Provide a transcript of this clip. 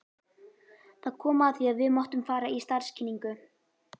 Það kom að því að við máttum fara í starfskynningu.